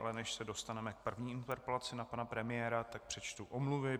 Ale než se dostaneme k první interpelaci na pana premiéra, tak přečtu omluvy.